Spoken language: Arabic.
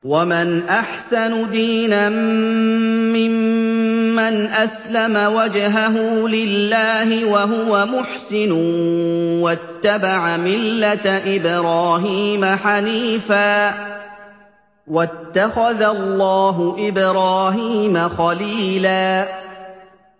وَمَنْ أَحْسَنُ دِينًا مِّمَّنْ أَسْلَمَ وَجْهَهُ لِلَّهِ وَهُوَ مُحْسِنٌ وَاتَّبَعَ مِلَّةَ إِبْرَاهِيمَ حَنِيفًا ۗ وَاتَّخَذَ اللَّهُ إِبْرَاهِيمَ خَلِيلًا